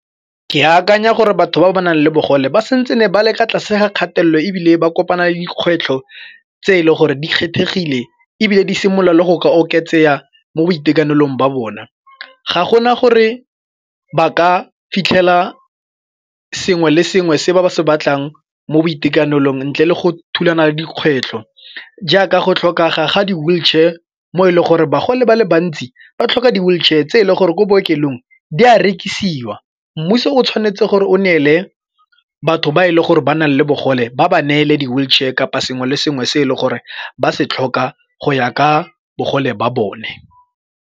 Ke akanya gore batho ba ba nang le bogole ba santsene ba le ka tlase ga kgatelelo ebile ba kopana le dikgwetlho tse e le gore di kgethegile ebile di simolola le go ka oketsega mo boitekanelong ba bona. Ga gona gore ba ka fitlhela sengwe le sengwe se ba se batlang mo boitekanelong ntle le go thulana le dikgwetlho jaaka go tlhokega ga di-wheelchair mo e leng gore bagolo ba le bantsi ba tlhoka di-wheelchair tse e le gore ko bookelong di a rekisiwa. Mmuso o tshwanetse gore o neele batho ba e le gore ba nang le bogole ba ba neele di-wheelchair kapa sengwe le sengwe se e leng gore ba se tlhoka go ya ka bogole ba bone.